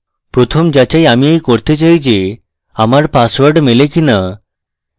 প্রথম যাচাই আমি এই করতে চাই the আমার পাসওয়ার্ড মেলে কিনা